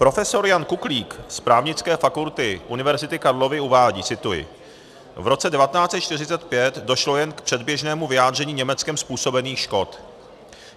Profesor Jan Kuklík z Právnické fakulty Univerzity Karlovy uvádí - cituji: "V roce 1945 došlo jen k předběžnému vyjádření Německem způsobených škod.